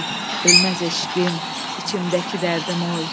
ölməz eşqim, içimdəki dərdim oy.